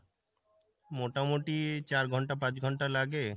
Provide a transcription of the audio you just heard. মোটামুটি চার ঘন্টা পাঁচ ঘন্টা লাগে